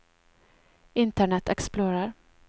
internet explorer